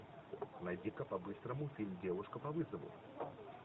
найди ка по быстрому фильм девушка по вызову